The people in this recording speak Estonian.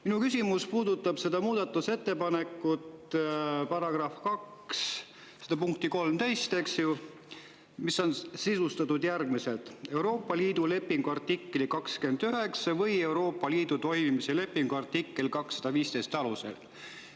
Minu küsimus puudutab seda muudatusettepanekut, § 2 punkti 13, eks ju, mis on sisustatud järgmiselt: "Euroopa Liidu lepingu artikli 29 või Euroopa Liidu toimimise lepingu artikli 215 alusel ".